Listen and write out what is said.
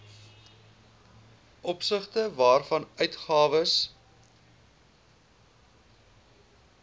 opsigte waarvan uitgawes